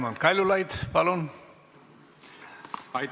Raimond Kaljulaid, palun!